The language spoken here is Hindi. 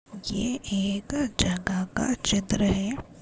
यह एक जगह का चित्र है।